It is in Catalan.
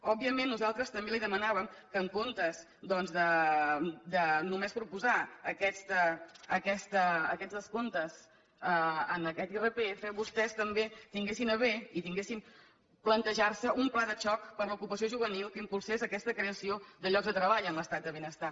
òbviament nosaltres també li demanàvem que en comptes doncs de només proposar aquests descomptes en aquest irpf vostès també tinguessin a bé plantejar se un pla de xoc per a l’ocupació juvenil que impulsés aquesta creació de llocs de treball en l’estat de benestar